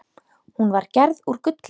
Hún var gerð úr gulli.